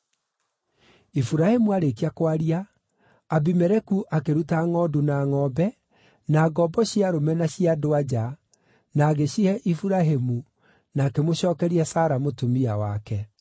Iburahĩmu aarĩkia kwaria, Abimeleku akĩruta ngʼondu na ngʼombe, na ngombo cia arũme na cia andũ-a-nja, na agĩcihe Iburahĩmu, na akĩmũcookeria Sara mũtumia wake.